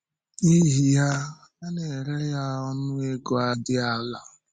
N’ihi yá, ha na-ere ya ọnụ ego dị ala.